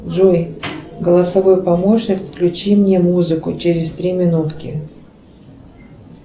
джой голосовой помощник включи мне музыку через три минутки